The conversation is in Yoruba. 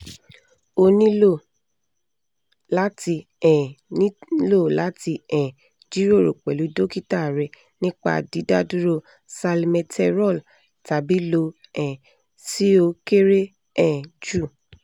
o nilo lati um nilo lati um jiroro pẹlu dokita rẹ nipa didaduro salmeterol tabi lo um si o kere um ju